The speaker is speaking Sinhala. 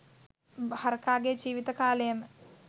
හරකාගේ ජීවත කාලයම